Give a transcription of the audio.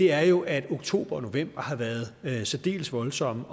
er jo at oktober og november har været særdeles voldsomme